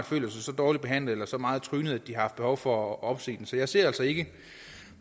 følt sig så dårligt behandlet eller så meget trynet at de har haft behov for at opsige så jeg ser altså ikke